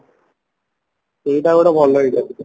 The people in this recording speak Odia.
ସେଇଟା ଗୋଟେ ଭଲ ଲାଗିଲା